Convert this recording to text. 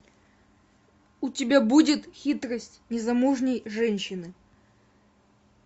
у тебя будет хитрость незамужней женщины